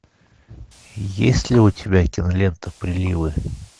есть ли у тебя кинолента приливы